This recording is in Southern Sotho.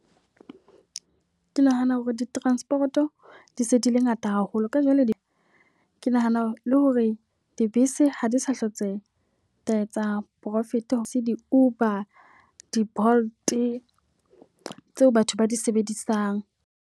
Ke nahana hore di-transport-o di se di le ngata haholo. Ka jwale ke nahana le hore dibese ha di sa hlotse etsa profit. Ha se di-Uber, di-Bolt tseo batho ba di sebedisang.